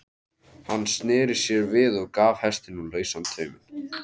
Hann sneri sér við og gaf hestinum lausan tauminn.